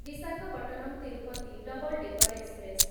Visakhapatnam Tirupati double decker express